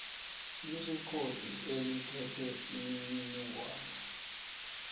irekhodi eliphethe imininingwana